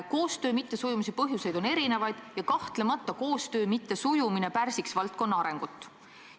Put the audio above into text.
Koostöö mittesujumise põhjuseid on erinevaid ja kahtlemata pärsiks koostöö mittesujumine valdkonna arengut.